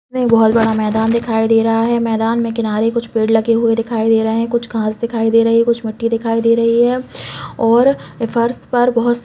एक बहुत बड़ा मैदान दिखाई दे रहा है मैदान में किनारे कुछ पेड़ लगे हुए दिखाई दे रहे है कुछ घास दिखाई दे रही कुछ मिट्टी दिखाई दे रही है और फर्श पर बहुत --